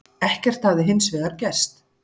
Ekkert hefði hins vegar gerst